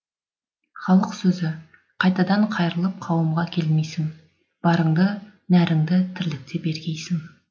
халық сөзі қайтадан қайырылып қауымға келмейсің барыңды нәріңді тірлікте бергейсің